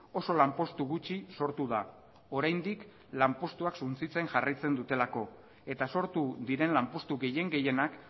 oso lanpostu gutxi sortu da oraindik lanpostua suntsitzen jarraitzen dutelako eta sortu diren lanpostu gehien gehienak